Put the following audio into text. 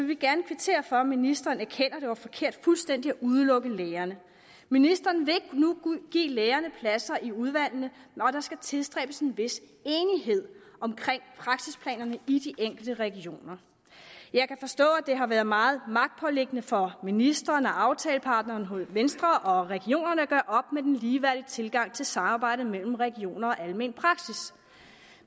vi gerne kvittere for at ministeren erkender at det var forkert fuldstændig at udelukke lægerne ministeren vil nu give lægerne pladser i udvalgene og der skal tilstræbes en vis enighed om praksisplanerne i de enkelte regioner jeg kan forstå at det har været meget magtpåliggende for ministeren aftalepartneren venstre og regionerne at gøre op med den ligeværdige tilgang til samarbejdet mellem regioner og almen praksis